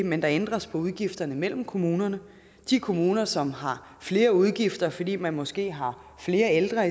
men der ændres på udgifterne mellem kommunerne de kommuner som har flere udgifter fordi man måske har flere ældre